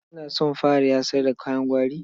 Kina son fara yasar da kayan gwari?